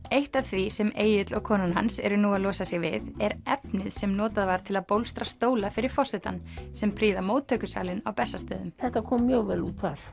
eitt af því sem Egill og konan hans eru nú að losa sig við er efnið sem notað var til að bólstra stóla fyrir forsetann sem prýða móttökusalinn á Bessastöðum þetta kom mjög vel út þar